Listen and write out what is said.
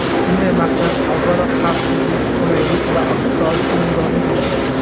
Undan maqsad, avvalo, xavfsizlik, qulaylik va iqtisodiy unumdorlikdir.